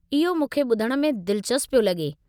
इहो मूंखे ॿुधण में दिलचस्प पियो लॻे।